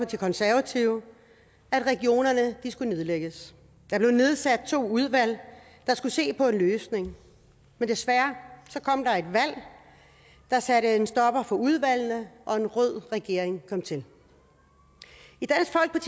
de konservative at regionerne skulle nedlægges der blev nedsat to udvalg der skulle se på en løsning men desværre kom der er et valg der satte en stopper for udvalgenes og en rød regering kom til